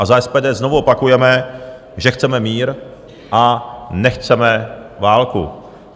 A za SPD znovu opakujeme, že chceme mír a nechceme válku.